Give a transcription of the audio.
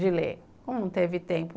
de ler, como não teve tempo?